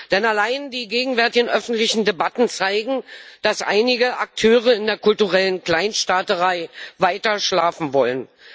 Denn allein die gegenwärtigen öffentlichen Debatten zeigen, dass einige Akteure in der kulturellen Kleinstaaterei weiter schlafen wollen.